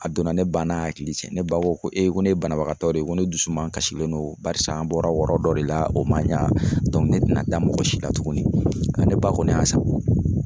A donna ne ba n'a hakili cɛ ne ba ko ko ne ye banabagatɔ de ye ko ne dusu man kasilen don barisa an bɔra yɔrɔ dɔ de la o man ɲa ne tɛna da mɔgɔ si la tuguni ne ba kɔni y'a san.